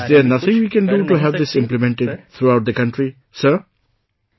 Is there nothing we can do to have this implemented throughout the country, Sir